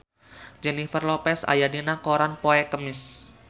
Jennifer Lopez aya dina koran poe Kemis